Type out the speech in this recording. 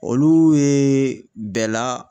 Olu ye bɛɛ la